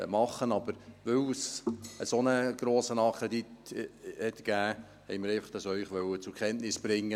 Da es aber einen so grossen Nachkredit gab, wollten wir Ihnen dies zur Kenntnis bringen.